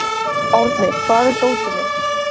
Árni, hvar er dótið mitt?